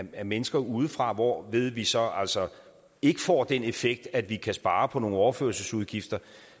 af mennesker udefra hvorved vi så altså ikke får den effekt at vi kan spare på nogle overførselsudgifter